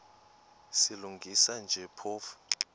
silungisa nje phofu